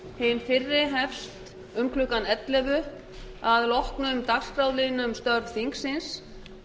hin fyrri hefst um klukkan ellefu að loknum dagskrárliðnum störf þingsins